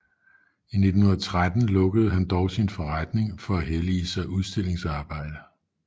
I 1913 lukkede han dog sin forretning for at hellige sig udstillingsarbejde